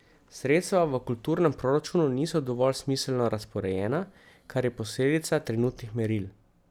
Sredstva v kulturnem proračunu niso dovolj smiselno razporejena, kar je posledica trenutnih meril.